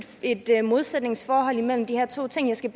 et modsætningsforhold imellem de her to ting jeg skal